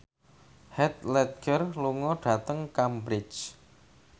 Heath Ledger lunga dhateng Cambridge